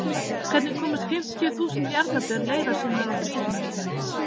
Hvernig komast fimmtíuþúsund jarðarber leiðar sinnar á þríhjóli.